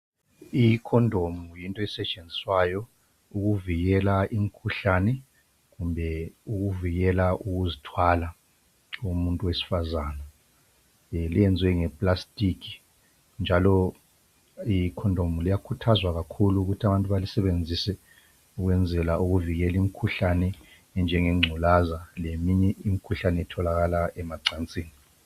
Ikhondomu yinto esetshenziswayo ukuvikela imkhuhlane kumbe ukuvikela ukuzithwala komuntu wesifazana. Lenziwe ngeplastic, njalo ikhondomu liyakhuthazwa kakhulu ukuthi abantu balisebenzise ukwenzela ukuvikela imkhuhlane enjengengculaza leminye imkhuhlane etholakala emacansini.